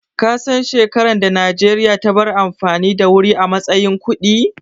Kasan shekaran da Najeriya ta bar amfani da wuri a matsayin kuɗi?